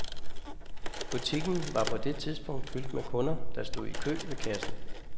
Butikken var på det tidspunkt fyldt med kunder, der stod i kø ved kassen.